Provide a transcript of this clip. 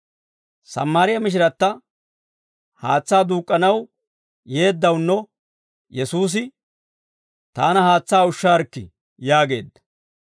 Sammaariyaa mishiratta haatsaa duuk'k'anaw yeeddawunno Yesuusi, «Taana haatsaa ushshaarikkii!» yaageedda.